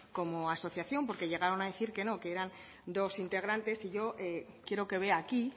como asociación porque llegaron a decir que no que eran dos integrantes y yo quiero que vea aquí